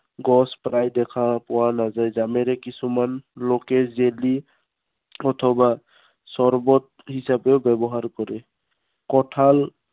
গছ প্ৰায় দেখা পোৱা নাযায়। জামেৰে কিছুমান লোকে জেলি অথবা চৰৱত হিচাপেও ব্য়ৱহাৰ কৰে। কঁঠাল